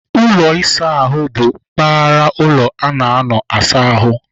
Ụlọ ịsa ahụ bụ mpaghara ụlọ a na-anọ asa ahụ.